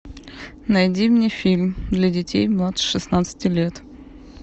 найди мне фильм для детей младше шестнадцати лет